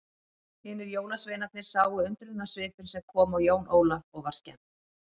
Hinir jólasveinarnir sáu undrunarsvipinn sem kom á Jón Ólaf og var skemmt.